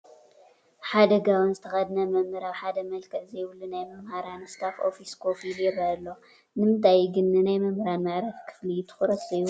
ሓደ ጋቦን ዝተኸደነ መምህር ኣብ ሓደ መልክዕ ዘይብሉ ናይ መምህራን ስታፍ ኦፊስ ኮፍ ኢሉ ይርአ ኣሎ፡፡ ንምንታይ እዩ ግን ንናይ መምህራን መዕረፊ ክፍሊ ትኹረት ዘይወሃቦ?